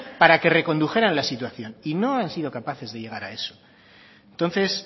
para que recondujeran la situación y no han sido capaces de llegar a eso entonces